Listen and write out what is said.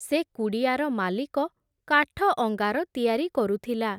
ସେ କୁଡ଼ିଆର ମାଲିକ, କାଠଅଙ୍ଗାର ତିଆରି କରୁଥିଲା ।